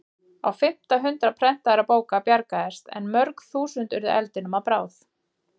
Á fimmta hundrað prentaðra bóka bjargaðist en mörg þúsund urðu eldinum að bráð.